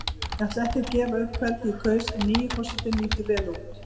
Ég ætla ekki að gefa upp hvern ég kaus en nýi forsetinn lítur vel út.